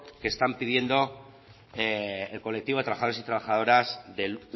que está pidiendo el colectivo de trabajadores y trabajadoras del